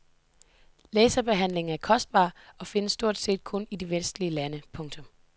Laserbehandlingen er kostbar og findes stort set kun i de vestlige lande. punktum